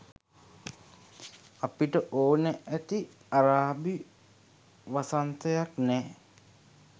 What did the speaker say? අපිට ඕන ඇති අරාබි වසන්තයක් නෑ